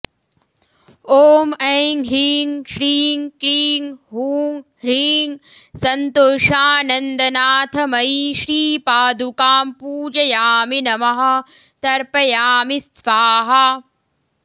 ॐ ऐं ह्रीं श्रीं क्रीं हूं ह्रीं सन्तोषानन्दनाथमयी श्रीपादुकां पूजयामि नमः तर्पयामि स्वाहा